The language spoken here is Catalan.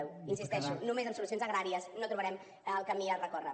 hi insisteixo només amb solucions agràries no trobarem el camí a recórrer